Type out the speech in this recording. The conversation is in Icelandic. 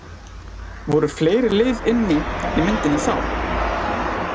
Voru fleiri lið inni í myndinni þá?